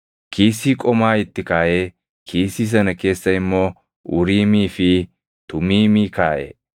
Kiisii qomaa itti kaaʼee kiisii sana keessa immoo Uriimii fi Tumiimii kaaʼe.